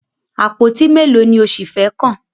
Àpótí mélòó ni o ṣì fẹ́ kàn?